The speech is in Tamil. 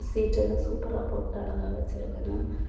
சீட் எல்லா சூப்பரா போட்டு அழகா வெச்சிருங்கனு.